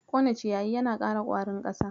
Kone ciyayi yana ƙara ƙwarin ƙasa.